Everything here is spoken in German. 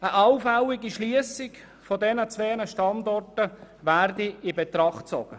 Eine allfällige Schliessung der beiden Standorte werde in Betracht gezogen.